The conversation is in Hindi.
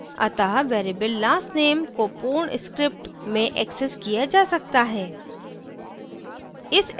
अतः variable last _ name को पूर्ण script में accessed किया जा सकता है